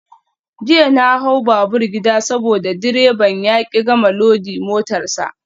Jiya na hau babur gida saboda direban ya ki gama loda motar sa.